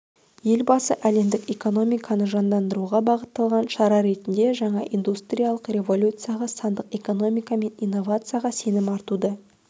елбасы әлемдік экономиканы жандандыруға бағытталған шара ретінде жаңа индустриялық революцияға сандық экономика мен инновацияға сенім артуды